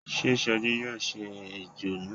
Sé Soji yóò ṣe ẹjọ́ náà.